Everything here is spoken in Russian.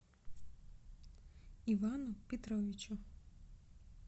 ивану петровичу